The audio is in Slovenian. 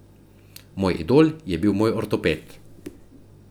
Moj idol je bil moj ortoped.